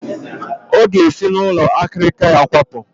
Ọ ga-esi n'ụlọ akịrịka ya kwapụ